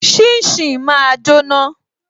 Shin shin máa jóná